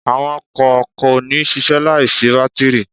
Àwọn ọkọ̀ kò ní ṣiṣẹ́ láì sí bátírì.